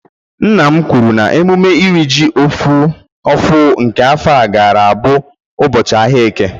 nna m kwuru na emume iri ji ofú nke afo gara aga bu ubochi ahia eke